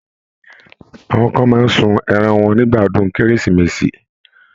Àwọn kan máa ń sun ẹran wọn nígbà ọdún Kérésìmesì.